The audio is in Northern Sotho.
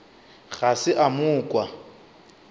ga se a mo kwa